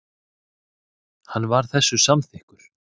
Hann var þessu samþykkur.